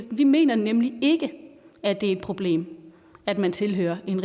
vi mener nemlig ikke at det er et problem at man tilhører en